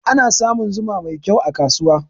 Ana samun zuma mai kyau a kasuwa.